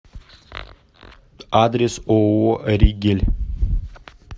адрес ооо ригель